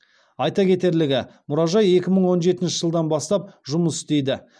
айта кетерлігі мұражай екі мың он жетінші жылдан бастап жұмыс істейді